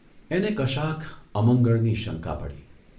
એને કશાક અમંગળની શંકા પડી.